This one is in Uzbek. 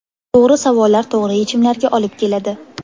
To‘g‘ri savollar to‘g‘ri yechimlarga olib keladi.